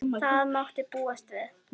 Það mátti búast við því.